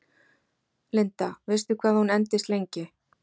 Linda: Veistu hvað hún endist lengi?